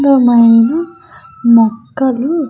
అందమైన మొక్కలు --